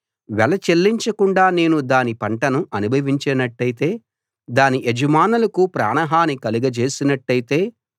వెల చెల్లించకుండా నేను దాని పంటను అనుభవించినట్టయితే దాని యజమానులకు ప్రాణహాని కలగజేసినట్టయితే